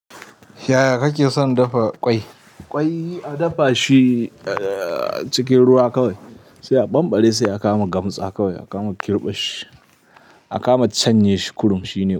Yaya kake son dafa ƙwai? Ƙwai a dafa shi, eh cikin ruwa kawai, sai a banɓare sai a kama gamtsa kawai, a kama kirɓe shi, a kama canye shi kurum shine.